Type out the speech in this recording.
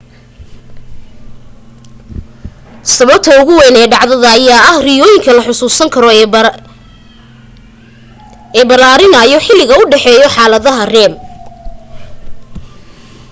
sababta ugu wayn ee dhacdada ayaa ah riyooyinka la xusuusan karo ee balaarinaayo xiliga u dhexeeyo xaaladaha rem